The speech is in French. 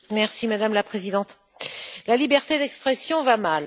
Madame la Présidente, la liberté d'expression va mal.